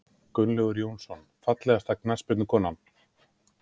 Gunnlaugur Jónsson Fallegasta knattspyrnukonan?